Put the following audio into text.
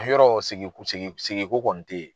Yɔrɔ sigi sigi ko kɔni te yen.